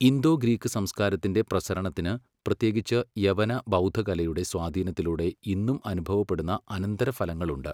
Indo Greek സംസ്കാരത്തിൻ്റെ പ്രസരണത്തിന്, പ്രത്യേകിച്ച് യവന, ബൗദ്ധകലയുടെ സ്വാധീനത്തിലൂടെ ഇന്നും അനുഭവപ്പെടുന്ന അനന്തരഫലങ്ങളുണ്ട്.